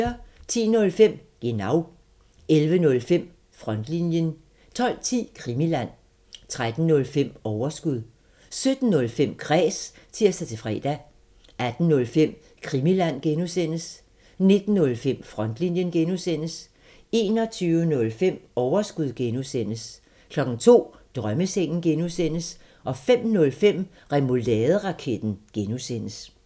10:05: Genau 11:05: Frontlinjen 12:10: Krimiland 13:05: Overskud 17:05: Kræs (tir-fre) 18:05: Krimiland (G) 19:05: Frontlinjen (G) 21:05: Overskud (G) 02:00: Drømmesengen (G) 05:05: Remouladeraketten (G)